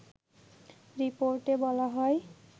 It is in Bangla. রিপোর্টে বলা হয়